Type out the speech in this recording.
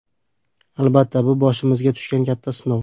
Albatta, bu boshimizga tushgan katta sinov.